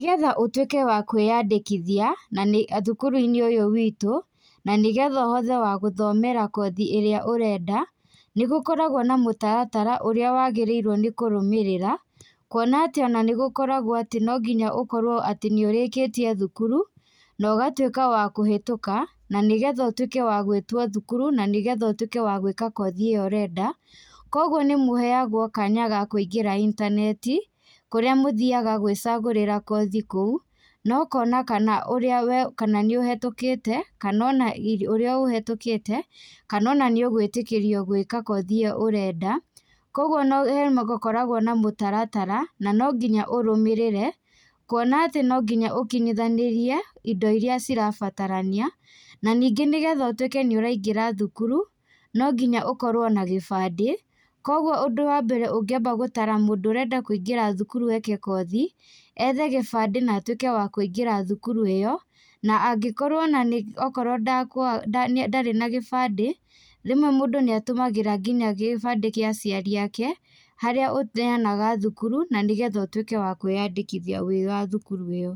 Nĩgetha ũtuĩke wa kwĩyandĩkithia, na nĩ thukuruinĩ ũyũ witũ, na nĩgethe ũhothe wa gũthomera kothi ĩrĩa ũrenda, nĩgũkoragwo na mũtaratara ũrĩa wagĩrĩirwo nĩ kũrũmĩrĩra, kuona atĩ ona nĩgũkoragwo atĩ nonginya ũkorwo atĩ nĩũrĩkĩtie thukuru, na ũgatuĩka wa kũhetuka, na nĩgetha ũtuĩke wa gwĩtwo thukuru na nĩgetha ũtuĩke wa gwĩka kothi ĩyo ũrenda, koguo nĩmũheagwo kanya ga kũingĩra intaneti, kũrĩa mũthiaga gwicagũrĩra kothi kũu, na ũkona kana ũrĩa we, kana nĩ ũhetũkĩte, kana ona ũrĩa ũhetũkĩte, kana ona nĩ ũgwĩtĩkĩrio gwĩka kothi ĩyo ũrenda, Koguo no nĩgũkoragwo na mũtaratara, na no nginya ũrũmĩrĩre, kuona atĩ nonginya ũkinyithanĩrie indo iria cirabatarania, na nĩngĩ nĩgetha ũtuĩke nĩũrangĩra thukuru, nonginya ũkorwo na gĩbandĩ, koguo ũndũ wa mbere ũngĩamba gũtara mũndũ ũrenda kuingĩra thukuru eke kothi, ethe gĩbandĩ na atuĩke wa kũingĩra thukuru ĩyo, na angĩkorwo ona nĩ okorwo ndarĩ na gĩbandĩ, rĩmwe mũndũ nĩatũmagĩra nginya gĩbandĩ gĩa aciari ake, harĩa ũneanaga thukuru, na nĩgetha ũtuĩke wa kwĩyandĩkĩthia wĩ wa thukuru ĩyo.